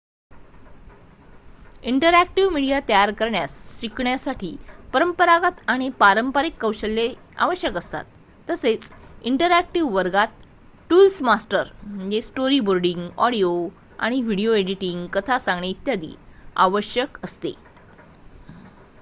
Interactive media तयार करण्यास शिकण्यासाठी परंपरागत आणि पारंपारिक कौशल्ये आवश्यक असतात तसेच इंटरअॅक्टिव वर्गात टूल्स मास्टर स्टोरीबोर्डिंग ऑडिओ आणि व्हिडिओ एडिटिंग कथा सांगणे इत्यादी. आवश्यक असते